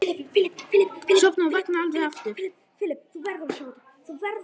Sofna og vakna aldrei aftur.